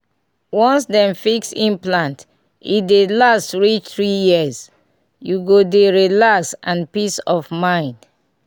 once dem fix implant e dey last reach 3yrs --u go dey relax and peace of mind